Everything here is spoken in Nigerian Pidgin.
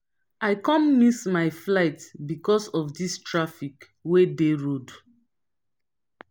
i com miss my flight because of dis traffic wey dey road.